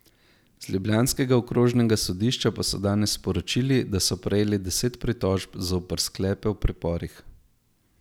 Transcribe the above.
Z ljubljanskega okrožnega sodišča pa so danes sporočili, da so prejeli deset pritožb zoper sklepe o priporih.